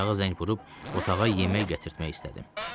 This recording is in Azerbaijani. Aşağı zəng vurub otağa yemək gətirtmək istədim.